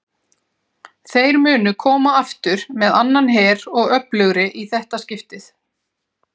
Þeir munu koma aftur með annan her og öflugri í þetta skiptið!